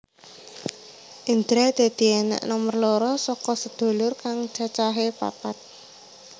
Indra dadi anak nomer loro saka sedulur kang cacahé papat